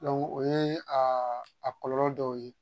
o yee aa a kɔlɔlɔ dɔw ye.